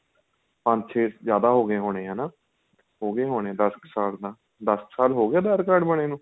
ਪੰਜ ਛੇ ਜਿਆਦਾ ਹੋ ਗਏ ਹੋਣੇ ਹੈਨਾ ਹੋ ਗਏ ਹੋਣੇ ਦੱਸ ਕ਼ ਸਾਲ ਤਾਂ ਦੱਸ ਸਾਲ ਹੋ ਗਏ aadhar card ਬਣੇ ਨੂੰ